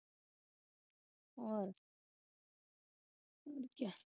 ਹੋਰ?